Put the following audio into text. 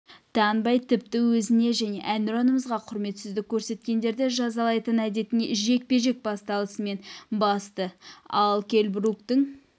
танбай тіпті өзіне және әнұранымызға құрметсіздік көрсеткендерді жазалайтын әдетіне жекпе-жек басталысымен басты ал келл бруктың